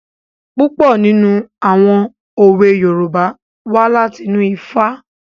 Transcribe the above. Púpọ̀ nínú àwọn òwe Yorùbá wá láti inú Ifá.